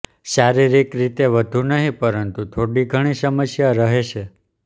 શારીરિક રીતે વધુ નહીં પરંતુ થોડી ઘણી સમસ્યા રહેશે